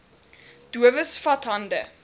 dowes vat hande